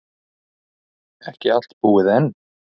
Ekki allt búið enn.